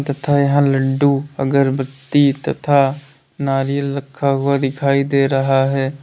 तथा यहां लड्डू अगरबत्ती तथा नारियल रखा हुआ दिखाई दे रहा है।